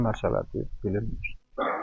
Nə məharət deyil, bilinmir.